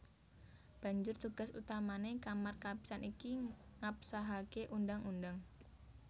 Banjur tugas utamané Kamar Kapisan iki ngabsahaké undhang undhang